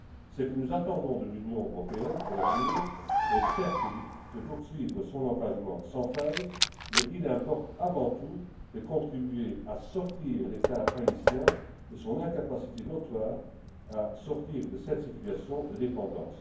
Ce que nous attendons de l'Union européenne pour l'avenir est certes qu'elle poursuive son engagement sans faille, mais il importe avant tout de contribuer à sortir l'État haïtien de son incapacité notoire à se libérer de cette situation de dépendance.